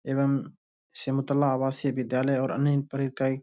एवं सिमतला आवासीय विद्यालय और --